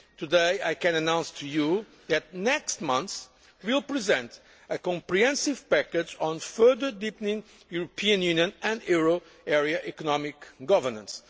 Today I can announce to you that, next month, we will present a comprehensive package on further deepening European Union and euro area economic governance.